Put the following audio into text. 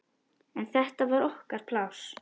En þetta var okkar pláss.